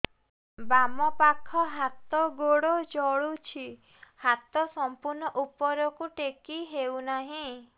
ବାମପାଖ ହାତ ଗୋଡ଼ ଜଳୁଛି ହାତ ସଂପୂର୍ଣ୍ଣ ଉପରକୁ ଟେକି ହେଉନାହିଁ